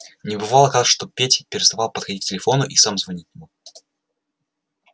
но бывало кажется так что петя переставал подходить к телефону и сам звонить не мог